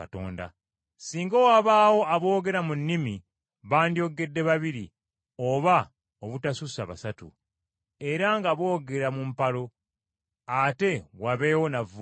Singa wabaawo aboogera mu nnimi bandyogedde babiri, oba obutasussa basatu, era nga boogera mu mpalo, ate wabeewo n’avvuunula.